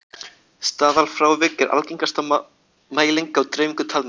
staðalfrávik er algengasta mæling á dreifingu talna